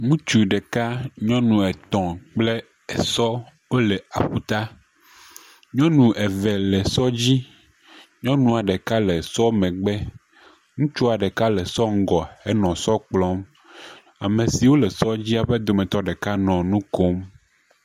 Ŋutsu ɖeka, nyɔnu etɔ̃ kple esɔ wole aƒuta. Nyɔnu eve le sɔ dzi. Nyɔnua ɖeka le sɔ megbe. Ŋutsua ɖeka le sɔ ŋgɔ, ele sɔ kplɔm. Ame siwo le sɔdzia ƒe wo dometɔ ɖeka le nu kom.